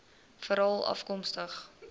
veralafkomstig